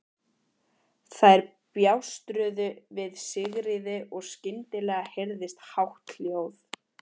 Þær bjástruðu við Sigríði og skyndilega heyrðist hátt hljóð.